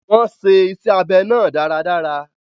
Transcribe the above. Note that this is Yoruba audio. Wọ́n ṣe iṣẹ́ abẹ náà dáradára.